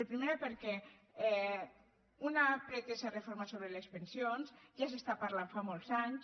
primera perquè una pretesa reforma sobre les pensions ja es parla fa molts anys